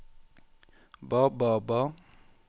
ba ba ba